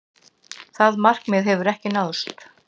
Það markmið hefur ekki náðst.